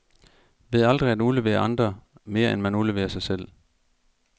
Ved aldrig at udlevere andre, mere end man udleverer sig selv.